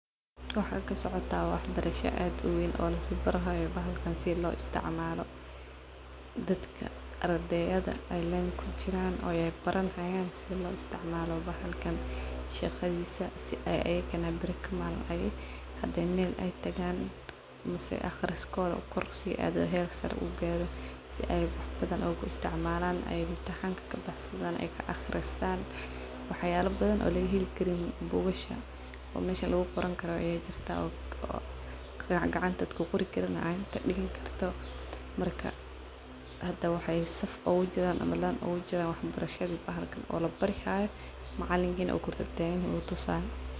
Waxaa kasocotah waxbarasha ad u weyn oo lisbarihayo bahalkan si lo isticmalo, dadka ardeyada ay len kujiran oo baranayan sida lo isticmalo bahalkan shaqadisa si ay ayagana beri kamalin hadi mel ay tagan ama wax barasho kororsi adan si uu ugacawiyo. sia y wax badhan ugu isticmalan , waxyaba badhan lagaheli karin bugashaa ayaa lagahelaa bahalka faido badhan ayuu leyahay bahalkan, hdad gacanta kuqorin macalinkisa uu kor tataganyaho uu tusayo.